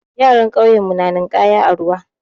Yaran ƙauyen mu na ninƙaya a ruwa.